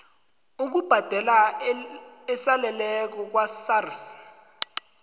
ukubhadela esaleleko kwasars